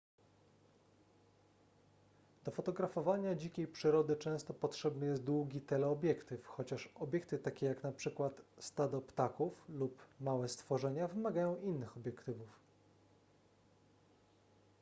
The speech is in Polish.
do fotografowania dzikiej przyrody często potrzebny jest długi teleobiektyw chociaż obiekty takie jak np stado ptaków lub małe stworzenia wymagają innych obiektywów